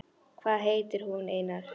Hvað heitir hún, Einar?